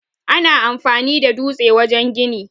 Ana amfani da dutse wajen gini.